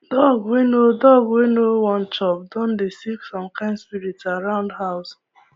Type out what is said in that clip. dog wey no dog wey no won chop don dey see some kind spirit around house